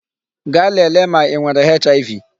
Gaa lèlè ma I nwere HIV.